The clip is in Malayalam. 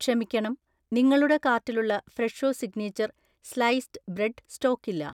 ക്ഷമിക്കണം, നിങ്ങളുടെ കാർട്ടിലുള്ള ഫ്രെഷോ സിഗ്നേച്ചർ സ്‌ലൈസ്‌ഡ്‌ ബ്രെഡ്ഡ് സ്റ്റോക്കില്ല